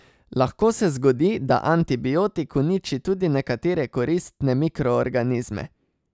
Lahko se zgodi, da antibiotik uniči tudi nekatere koristne mikroorganizme.